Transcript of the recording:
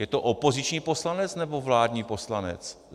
Je to opoziční poslanec, nebo vládní poslanec?